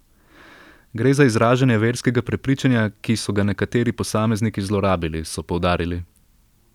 Gre za izražanje verskega prepričanja, ki so ga nekateri posamezniki zlorabili, so poudarili.